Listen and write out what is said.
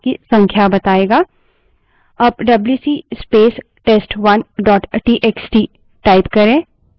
अब WC space test1 dot TXT wc space test1 dot txt type करें